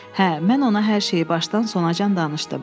Hə, mən ona hər şeyi başdan sona can danışdım.